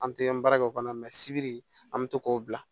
An tɛ an baarakɛ o kɔnɔ sibiri an bɛ to k'o bila